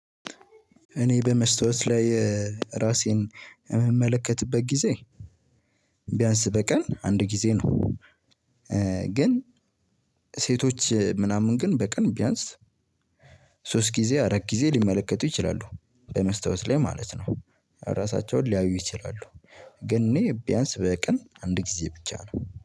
እኔ በመስታወት ላይ ራሴን ምመለከትበት ጊዜ ቢያንስ በቀን አንድ ጊዜ ነው ግን ሴቶች ምናምን ግን በቀን ቢያንስ ሶስት ጊዜ አራት ጊዜ ሊመለከቱ ይችላሉ በመስታወት ላይ ማለት ነው ራሳቸውን ሊያዩ ይችላሉ ግን እኔ ቢያንስ በቀን አንድ ጊዜ ብቻ ነው።